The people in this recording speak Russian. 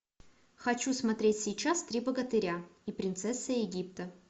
хочу смотреть сейчас три богатыря и принцесса египта